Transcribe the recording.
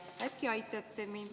Äkki aitate mind?